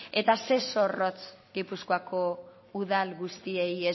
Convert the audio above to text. eta ze zorrotz gipuzkoako udal guztiei